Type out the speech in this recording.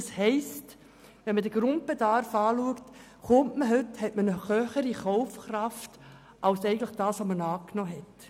Das bedeutet, dass der Grundbedarf eine höhere Kaufkraft bietet als angenommen.